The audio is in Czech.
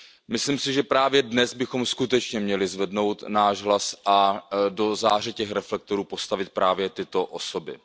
Myslím si, že právě dnes bychom skutečně měli zvednout náš hlas a do záře těch reflektorů postavit právě tyto osoby.